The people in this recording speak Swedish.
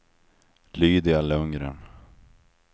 Lydia Lundgren